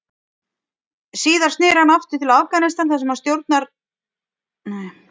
Síðar sneri hann aftur til Afganistan þar sem hann dvaldi í skjóli ógnarstjórnar Talibana.